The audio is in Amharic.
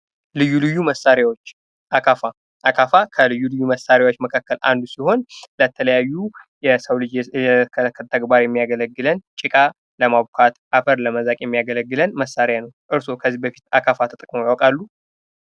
ልዩ ልዩ መሣሪያዎች አካፋ:- አካፋ ከልዩ ልዩ መሳሪያዎች መካከል አንዱ ሲሆን ለተለያዩ የእለት ከዕለት ተግባሮች የሚያገለግለን፥ ጭቃ ለማብኳት፥ አፈር ለመዛቅ የሚያገለግለን መሳሪያ ነው። እርሶ ከዚህ በፊት አካፋ ተጠቅመው ያውቃሉ?